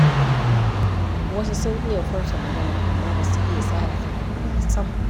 Wasu sun iya furta magana, amma ba su iya tsara kalamai ba sam.